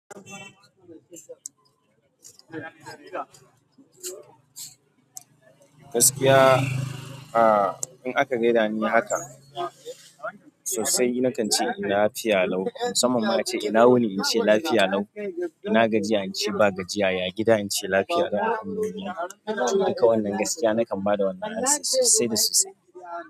Gaskiya, ah in aka gaida ni haka sosai nakan ce lafiya lau. Musamman ace ina wuni in ce lafiya lau, ina gajiya in ce ba gajiya, ya gida in ce lafiya lau. Duka wannan gaskiya nakan ba da wannan amsa sosai da sosai.